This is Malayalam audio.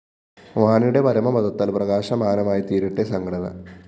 വാണിയുടെ പരമപദത്താല്‍ പ്രകാശമാനമായിത്തീരട്ടെ സംഘടന